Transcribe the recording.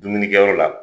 Dumunikɛyɔrɔ la